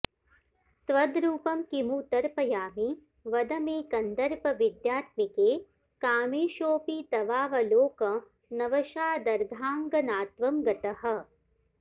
त्वद्रूपं किमु तर्पयामि वद मे कन्दर्पविद्यात्मिके कामेशोऽपि तवावलोकनवशादर्धाङ्गनात्वं गतः